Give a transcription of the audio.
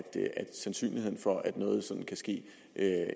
sandsynligheden for at noget sådant ske